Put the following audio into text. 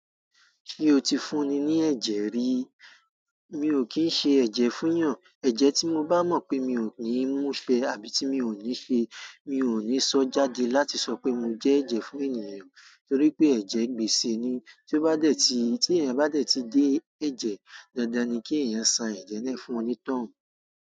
Kí ó ti fún ni ní ẹ̀jẹ̀ rí, mi ò kín ń ṣe ẹ̀jẹ̀ fún èyàn. Ẹ̀jẹ̀ tí mo bá mọ̀ pé mi ò ní mú fẹ àbí tí mi ò ní ṣe, mi ò ní sọ jáde láti sọ pé mo jẹ́ ẹ̀jẹ̀ fún ènìyàn. Torí pé ẹ̀jẹ̀ gbèsè ni, tí ó bá dẹ̀ ti, tí èèyàn bá dẹ̀ ti dé ẹ̀jẹ̀, dandan ni kí ènìyàn san ẹ̀jẹ̀ náà fún ọni tọ̀hún.